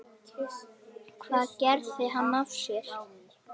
Hvað gerði hann af sér?